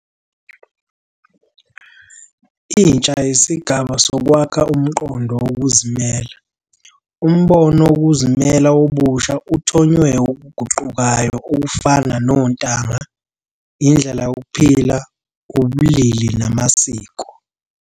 Intsha yisigaba sokwakha umqondo wokuzimela. Umbono wokuzimela wobusha uthonywe okuguqukayo okufana nontanga, indlela yokuphila, ubulili namasiko.